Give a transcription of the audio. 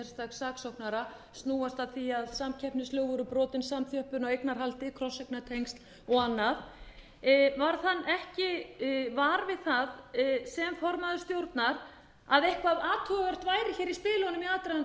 saksóknara snúast að því að samkeppnislög voru brotin samþjöppun á eignarhaldi krosseignatengsl og annað varð hann ekki var við það sem formaður stjórnar að eitthvað athugavert